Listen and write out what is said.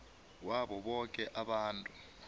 wabo boke abantu